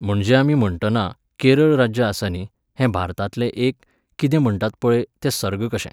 म्हणजे आमी म्हणटना, केरळ राज्य आसा न्ही, हें भारतांतलें एक, कितें म्हणटात पळय, तें सर्ग कशें.